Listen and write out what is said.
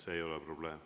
See ei ole probleem.